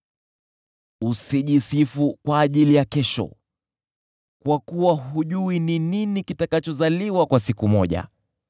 Usijisifu kwa ajili ya kesho, kwa kuwa hujui ni nini kitakachozaliwa kwa siku moja.